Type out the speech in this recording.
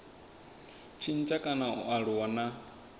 tshintsha kana a aluwa na